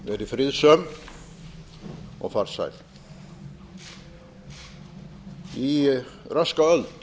verið friðsöm og farsæl í röska öld